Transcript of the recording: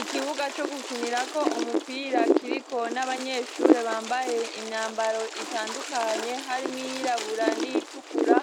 Ikibuga co gukinirako umupira kiriko n'abanyeshure bambaye imyambaro itandukanye harimwo iyirabura n'iyitukura